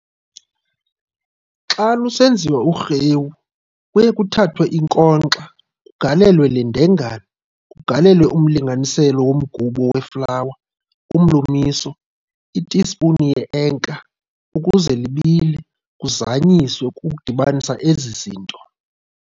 Xa lusenziwa urhewu, kuye kuthathwe inkonxa, kugalelwe lendengane, kugalelwe umlinganiselo womgubo weflawa, umlumiso, itispuni le enka ukuze libile, kuzanyiswe ukudibanisa ezizinto.